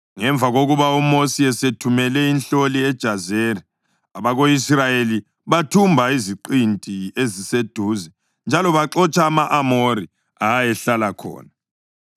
Ngemva kokuba uMosi esethumele inhloli eJazeri, abako-Israyeli bathumba iziqinti eziseduze njalo baxotsha ama-Amori ayehlala khona.